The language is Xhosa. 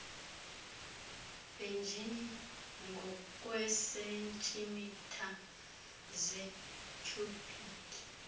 benjini ngokweesentimitha zetyhubhiki